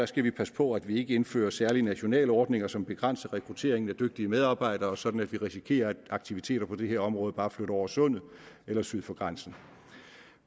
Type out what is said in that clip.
skal vi passe på at vi ikke indfører særlige nationale ordninger som begrænser rekrutteringen af dygtige medarbejdere sådan at vi risikerer at aktiviteter på det her område bare flytter over sundet eller syd for grænsen